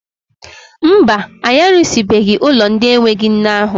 Mba, anyị arụsịbeghị ụlọ ndị enweghị nne ahụ.